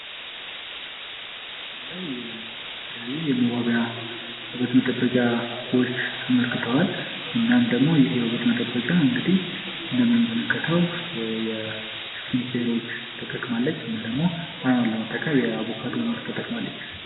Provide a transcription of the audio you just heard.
በምስሉ ላይ የተለያዩ የውበት መጠበቂያዎች ተመልክተዋል። እናም ደግሞ ይህ የውበት መጠበቂያ እንግዲህ እንደምንመለከተው የስቲም ኬሮች ተጠቅማለች እና ደግሞ አይኗን ለመቀባት የአቦካዶ ምርት ተጠቅማለች።